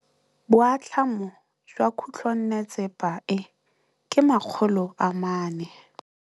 Boatlhamô jwa khutlonnetsepa e, ke 400.